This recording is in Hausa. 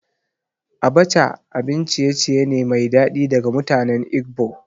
Abacha abin ciye-ciye ne mai daɗi daga mutanen Igbo